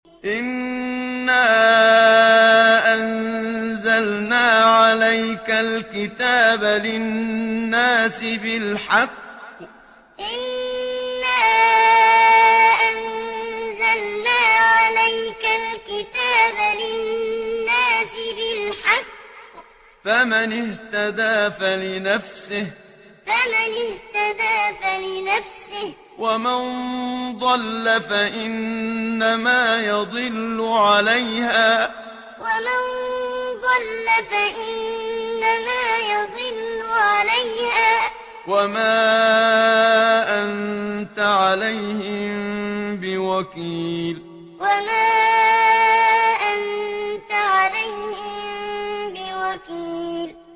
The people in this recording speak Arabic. إِنَّا أَنزَلْنَا عَلَيْكَ الْكِتَابَ لِلنَّاسِ بِالْحَقِّ ۖ فَمَنِ اهْتَدَىٰ فَلِنَفْسِهِ ۖ وَمَن ضَلَّ فَإِنَّمَا يَضِلُّ عَلَيْهَا ۖ وَمَا أَنتَ عَلَيْهِم بِوَكِيلٍ إِنَّا أَنزَلْنَا عَلَيْكَ الْكِتَابَ لِلنَّاسِ بِالْحَقِّ ۖ فَمَنِ اهْتَدَىٰ فَلِنَفْسِهِ ۖ وَمَن ضَلَّ فَإِنَّمَا يَضِلُّ عَلَيْهَا ۖ وَمَا أَنتَ عَلَيْهِم بِوَكِيلٍ